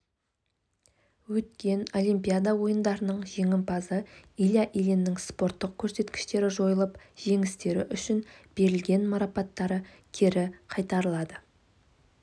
өткен олимпиада ойындарының жеңімпазы илья ильиннің спорттық көрсеткіштері жойылып жеңістері үшін берілген марапаттары кері қайтарылады